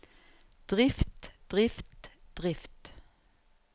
drift drift drift